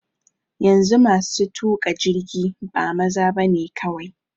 Yanzu masu tuƙa jirgi ba maza bane kawai.